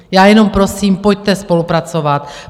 Já jenom prosím, pojďte spolupracovat.